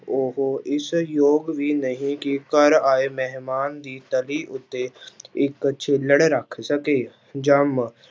ਉਹ ਇਸ ਯੋਗ ਵੀ ਨਹੀਂ ਕਿ ਘਰ ਆਏ ਮਹਿਮਾਨ ਦੀ ਤਲੀ ਉੱਤੇ ਇੱਕ ਛਿੱਲੜ ਰੱਖ ਸਕੇ, ਜੰਮ